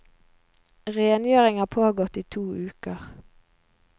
Rengjøringen har pågått i to uker.